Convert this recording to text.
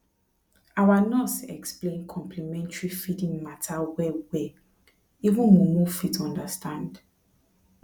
our nurse explain complementary feeding matter wellwell even mumu fit understand